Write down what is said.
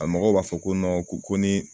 A mɔgɔw b'a fɔ ko ko ko ni